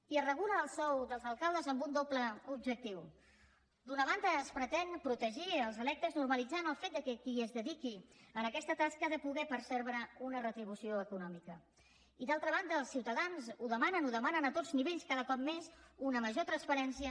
i es regula el sou dels alcaldes amb un doble objectiu d’una banda es pretén protegir els electes normalitzant el fet que qui es dediqui a aquesta tasca ha de poder percebre una retribució econòmica i d’altra banda els ciutadans ho demanen ho demanen a tots nivells cada cop més una major transparència